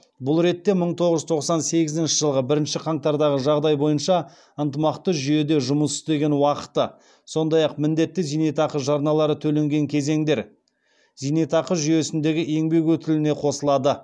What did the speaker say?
бұл ретте мың тоғыз жүз тоқсан сегізінші жылғы бірінші қаңтардағы жағдай бойынша ынтымақты жүйеде жұмыс істеген уақыты сондай ақ міндетті зейнетақы жарналары төленген кезеңдер зейнетақы жүйесіндегі еңбек өтіліне қосылады